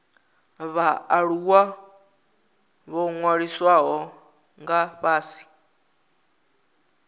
vhaaluwa ho ṅwalisiwaho nga fhasi